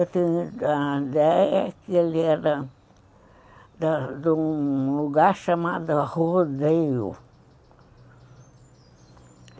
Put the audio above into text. Eu tinha a ideia que ele era de um lugar chamado Rodeio.